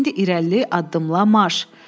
İndi irəli addımlamaş!